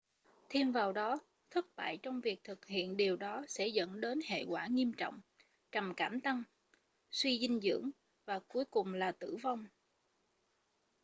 thêm vào đó thất bại trong việc thực hiện điều đó sẽ dẫn tới hệ quả nghiêm trọng trầm cảm tăng suy dinh dưỡng và cuối cùng là tử vong